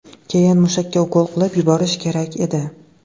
Keyin mushakka ukol qilib yuborish kerak edi.